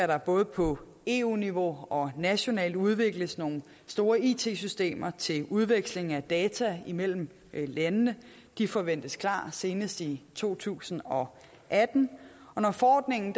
der både på eu niveau og nationalt udvikles nogle store it systemer til udveksling af data imellem landene de forventes klar senest i to tusind og atten og når forordningen